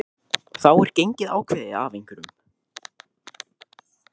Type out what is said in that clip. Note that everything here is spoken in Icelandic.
þá er gengið ákveðið af einhverjum